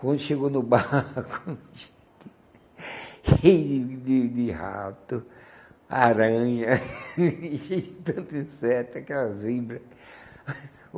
Quando chegou no barco, cheio de de rato, aranha, cheio de tanto inseto, aquelas víboras.